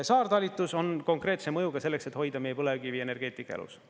Saartalitus on konkreetse mõjuga selleks, et hoida meie põlevkivienergeetika elus.